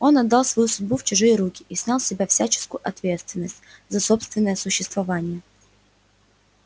он отдал свою судьбу в чужие руки и снял с себя всяческую ответственность за собственное существование